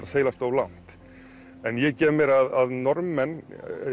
að seilast of langt en ég gef mér að Norðmenn